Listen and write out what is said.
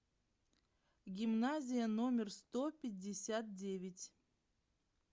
гимназия номер сто пятьдесят девять